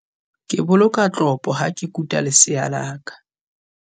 Ke boloka tlopo ha ke kuta lesea la ka.